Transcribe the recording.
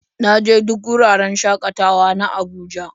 Na je duk wuraren shakatawa na Abuja.